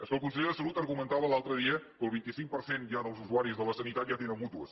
és que el conseller de salut argumentava l’altre dia que el vint cinc per cent ja dels usuaris de la sanitat ja tenen mútues